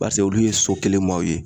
olu ye so kelen maaw ye